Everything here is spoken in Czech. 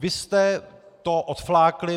Vy jste to odflákli.